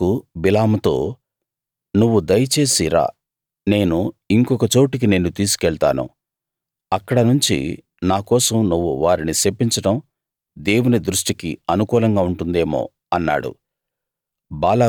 బాలాకు బిలాముతో నువ్వు దయచేసి రా నేను ఇంకొక చోటికి నిన్ను తీసుకెళ్తాను అక్కడ నుంచి నా కోసం నువ్వు వారిని శపించడం దేవుని దృష్టికి అనుకూలంగా ఉంటుందేమో అన్నాడు